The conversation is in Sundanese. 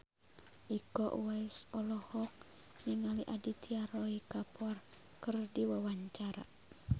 Iko Uwais olohok ningali Aditya Roy Kapoor keur diwawancara